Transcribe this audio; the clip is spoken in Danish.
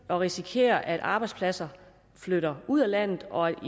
risikerer at arbejdspladser flytter ud af landet og